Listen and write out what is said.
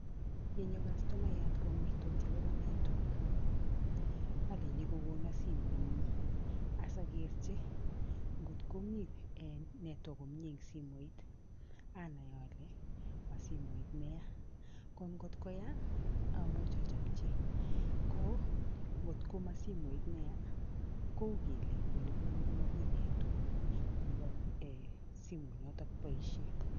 Yenyoo kastomayaat kongortoti akobo network olein kokonon simoit nyiin osokerji ngotko Mii network en simoit anai ole mosimoit neyaa ko ngotko Yaa omuj ojopjii ko ngotko mo simoit neyaa koukele olebunu komomi network nebo the simoit noton boisien